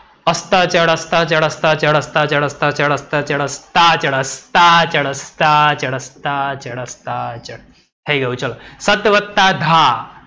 અસ્તાચળ, અસ્તાચળ અસ્તાચળ અસ્તાચળ સ્તાચળ, સ્તાચળ અસ્તાચળ થઈ ગયું ચલો. સત વત્તા ધા.